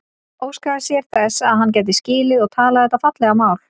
Óskaði sér þess að hann gæti skilið og talað þetta fallega mál.